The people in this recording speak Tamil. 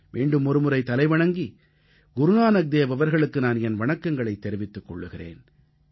மீண்டும் ஒருமுறை தலைவணங்கி குருநானக்தேவ் அவர்களுக்கு நான் என் வணக்கங்களைத் தெரிவித்துக் கொள்கிறேன்